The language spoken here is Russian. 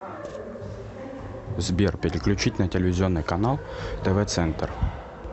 сбер переключить на телевизионный канал тв центр